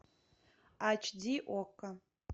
айч ди окко